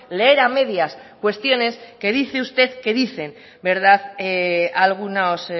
leer a medias cuestiones que dice usted que dicen verdad algunos